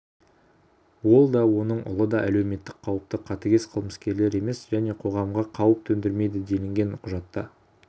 ол да оның ұлы да әлеуметтік қауіпті қатыгез қылмыскерлер емес және қоғамға қауіп төндірмейді делінген құжатта